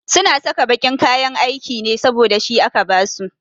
Su na saka baƙin kayan aiki ne saboda shi aka ba su